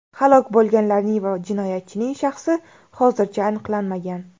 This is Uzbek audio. Halok bo‘lganlarning va jinoyatchining shaxsi hozircha aniqlanmagan.